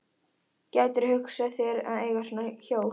Gætirðu hugsað þér að eiga svona hjól?